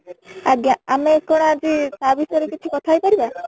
ଆଜ୍ଞା ଆମେ କ'ଣ ଆଜି ୟା ବିଷୟରେ କିଛି କଥା ହେଇ ପାରିବା?